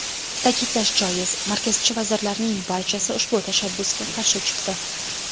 Ta’kidlash joiz, markazchi vazirlarning barchasi ushbu tashabbusga qarshi chiqdi.